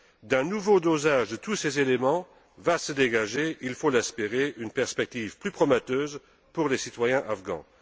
D'un nouveau dosage de tous ces éléments va se dégager il faut l'espérer une perspective plus prometteuse pour les citoyens afghans.